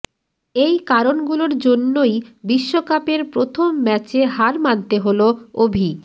এই কারণগুলোর জন্যই বিশ্বকাপের প্রথম ম্যাচে হার মানতে হল অভি